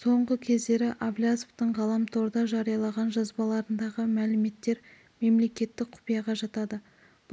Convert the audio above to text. соңғы кездері әблязовтың ғаламторда жариялаған жазбаларындағы мәліметтер мемлекеттік құпияға жатады